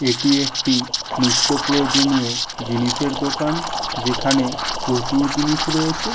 এটি একটি নৃত্য প্রয়োজনীয় জিনিসের দোকান। যেখানে প্রচুর জিনিস রয়েছে।